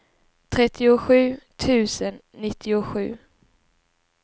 trettiosju tusen nittiosju